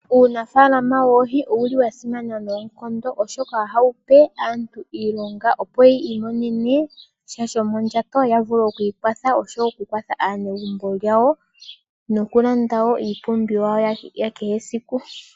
Uunafaalama woohi owuli wa simana noonkondo oshoka oha wupe aantu iilonga opo yi imonene sha shomondjato yavule oku ikwatha ya kwathe aanegumbo yawo, nokulanda woo iipumbiwa yakehe eaiku.